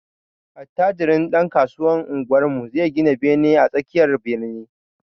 Attajirin ɗankasuwan unguwarmu zai gina bene a tsakiyar birni.